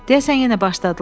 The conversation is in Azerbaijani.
Deyəsən yenə başladılar.